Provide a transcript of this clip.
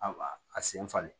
A a sen falen